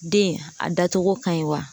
Den a da cogo ka ɲi wa?